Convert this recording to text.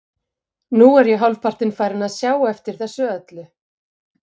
Nú er ég hálfpartinn farinn að sjá eftir þessu öllu.